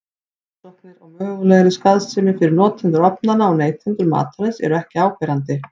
Rannsóknir á mögulegri skaðsemi fyrir notendur ofnanna og neytendur matarins eru ekki áberandi.